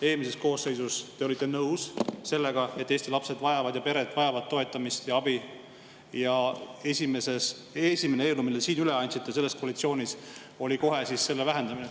Eelmises koosseisus te olite nõus sellega, et Eesti lapsed ja pered vajavad toetamist ja abi, aga esimene eelnõu, mille te üle andsite selles koalitsioonis, oli kohe selle vähendamine.